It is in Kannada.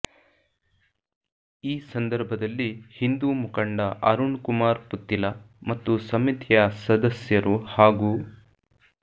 ಈ ಸಂದರ್ಭದಲ್ಲಿ ಹಿಂದು ಮುಖಂಡ ಅರುಣ್ ಕುಮಾರ್ ಪುತ್ತಿಲ ಮತ್ತು ಸಮಿತಿಯ ಸದಸ್ಯರು ಹಾಗೂ